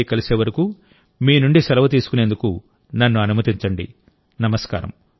మన్ కీ బాత్లో మళ్ళీ కలిసే వరకు మీ నుండి సెలవు తీసుకునేందుకు నన్ను అనుమతించండి